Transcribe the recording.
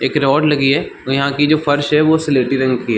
एक रोड लगी हुई है और जहाँ की जो फर्श हे वो सलेटी रंग की है।